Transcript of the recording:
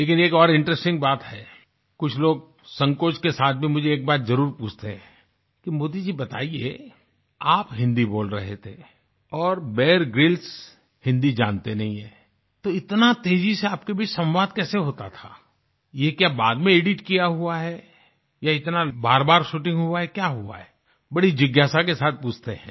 लेकिन एक और इंटरेस्टिंग बात है कुछ लोग संकोच के साथ भी मुझे एक बात जरुर पूछते हैं कि मोदी जी बताइये आप हिन्दी बोल रहे थे और बियर ग्रिल्स हिंदी जानते नहीं हैं तो इतना तेजी से आपके बीच सवांद कैसे होता था ये क्या बाद में एडिट किया हुआ है ये इतना बारबार शूटिंग हुआ है क्या हुआ है बड़ी जिज्ञासा के साथ पूछते हैं